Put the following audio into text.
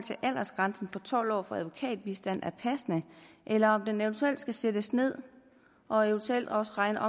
aldersgrænsen på tolv år for advokatbistand er passende eller om den eventuelt skal sættes ned og eventuelt også regner